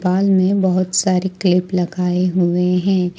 बाल में बहुत सारे क्लिप लगाए हुए है।